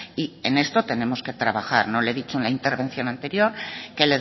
y en esto tenemos que trabajar no le he dicho en la intervención anterior que